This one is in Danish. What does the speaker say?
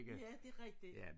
Ja det rigtigt